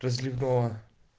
разливного